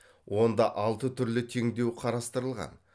онда алты түрлі теңдеу қарастырылған